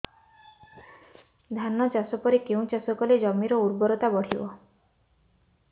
ଧାନ ଚାଷ ପରେ କେଉଁ ଚାଷ କଲେ ଜମିର ଉର୍ବରତା ବଢିବ